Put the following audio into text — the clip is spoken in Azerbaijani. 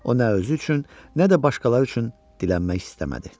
O nə özü üçün, nə də başqaları üçün dilənmək istəmədi.